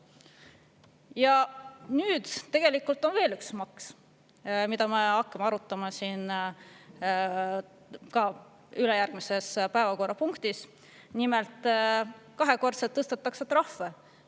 Ja nüüd tegelikult on veel üks maks, mida me hakkame arutama ülejärgmises päevakorrapunktis: nimelt kahekordselt tõstetakse trahve.